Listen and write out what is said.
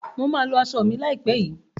Mà á lọ aṣọ mi láìpẹ́ yìí.